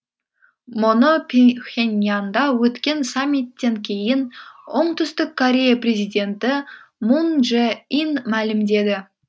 мұны пхеньянда өткен саммиттен кейін оңтүстік корея президенті мун чжэ ин мәлімдеді